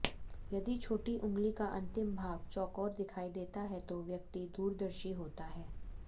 यदि छोटी उंगली का अंतिम भाग चौकोर दिखाई देता है तो व्यक्ति दूरदर्शी होता है